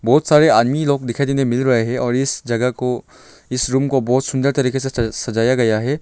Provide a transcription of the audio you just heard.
बहुत सारे आदमी लोग दिखाई देने मिल रहे हैं और इस जगह को इस रूम को बहुत सुंदर तरीके से सजाया गया है।